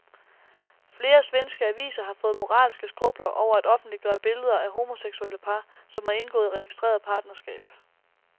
Flere svenske aviser har fået moralske skrupler over at offentliggøre billeder af homoseksuelle par, som har indgået registreret partnerskab.